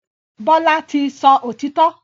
Bola tí sọ òtító.